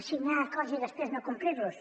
signar acords i després no complir los